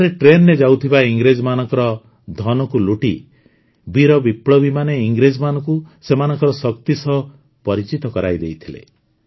ଏଠାରେ ଟ୍ରେନରେ ଯାଉଥିବା ଇଂରେଜମାନଙ୍କ ଧନକୁ ଲୁଟି ବୀର ବିପ୍ଳବୀମାନେ ଇଂରେଜମାନଙ୍କୁ ସେମାନଙ୍କ ଶକ୍ତି ସହ ପରିଚିତ କରାଇ ଦେଇଥିଲେ